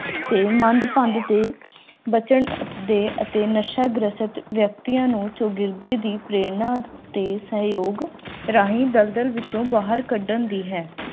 ਇਹ ਮੰਦਭਾਗਾ ਤੇ ਬਚਣਦੇ ਅਤੇ ਨਸ਼ਾ ਗ੍ਰਸਤ ਵਿਅਕਤੀਆਂ ਨੂੰ ਸੂਬੇ ਦੀ ਪ੍ਰੇਰਣਾ ਦੇ ਸਹਿਯੋਗ ਰਾਹੀਂ ਦਲਦਲ ਵਿੱਚੋਂ ਬਾਹਰ ਕੱਢਣ ਦੀ ਹੈ